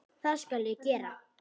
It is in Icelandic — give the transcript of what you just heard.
Það skal ég gera.